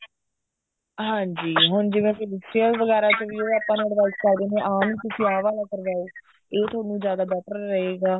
ਹਾਂਜੀ ਹੁਣ ਜਿਵੇਂ facial ਵਗੈਰਾ ਚ ਵੀ ਆਪਾਂ ਨੂੰ advice ਕਰ ਦਿੰਦੇ ਨੇ ਆ ਨਹੀਂ ਤੁਸੀਂ ਆ ਵਾਲਾ ਕਰਵਾਓ ਇਹ ਤੁਹਾਨੂੰ ਜਿਆਦਾ better ਰਹੇਗਾ